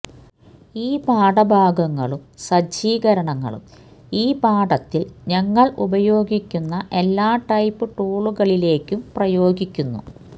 ഈ പാഠഭാഗങ്ങളും സജ്ജീകരണങ്ങളും ഈ പാഠത്തിൽ ഞങ്ങൾ ഉപയോഗിക്കുന്ന എല്ലാ ടൈപ് ടൂളുകളിലേക്കും പ്രയോഗിക്കുന്നു